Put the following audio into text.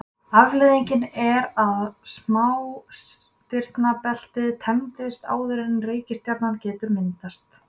Afleiðingin er að smástirnabeltið tæmist áður en reikistjarna getur myndast.